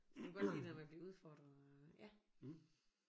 Du kan godt lide det der med at blive udfordret og ja